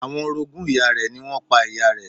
Àwọn orogún ìyá rẹ̀ ni wọ́n pa ìyá rẹ̀.